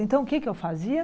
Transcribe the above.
Então, o que é que eu fazia?